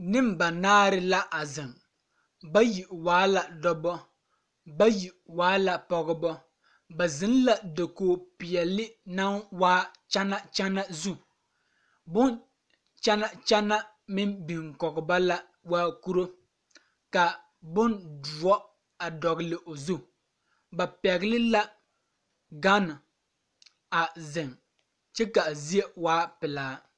Neŋbanaare la a zeŋ bayi waa la dɔbɔ bayi waa la pɔgebɔ ba zeŋ la dakoge peɛle naŋ waa kyana kyana zu bon kyana kyana meŋ biŋ kɔge ba la waa kuro ka bondoɔ a dɔgle o zu ba pɛgle la gane a zeŋ kyɛ kaa zie waa pelaa.